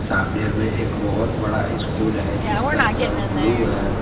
सामने में एक बहुत बड़ा स्कूल है जिसका कलर ब्लू है।